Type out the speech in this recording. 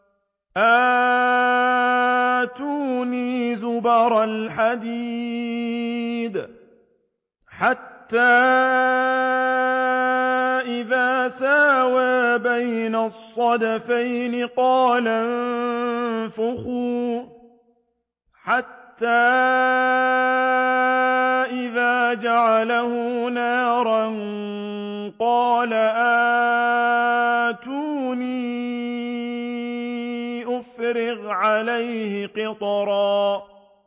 آتُونِي زُبَرَ الْحَدِيدِ ۖ حَتَّىٰ إِذَا سَاوَىٰ بَيْنَ الصَّدَفَيْنِ قَالَ انفُخُوا ۖ حَتَّىٰ إِذَا جَعَلَهُ نَارًا قَالَ آتُونِي أُفْرِغْ عَلَيْهِ قِطْرًا